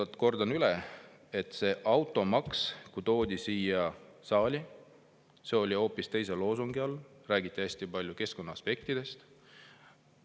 Nii et kordan üle, et kui automaks toodi siia saali, siis see oli hoopis teise loosungi all, räägiti hästi palju keskkonnaaspektidest.